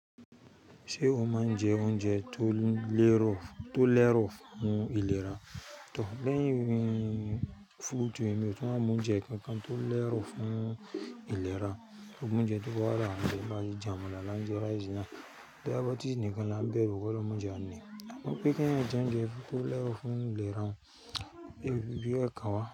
Ṣé o máa ń jẹ oúnjẹ tó lérò fún ìlera? Tọ́, lẹ́yìn fruit, emi ó tún wa mọ oúnjẹ kankan tó lẹrò fún ìlera, gbogbo oúnjẹ tó wà láwa njẹ bá jẹ amala lá ń jẹ rice náà. Diabetes níkan lán bẹ́ru, K'Ọlọhun mọ jẹ a ní. Wọ́n pè kí èèyàn jẹ oúnjẹ tó lérò fún ìlera, iyẹn o fiì bẹ kan wá.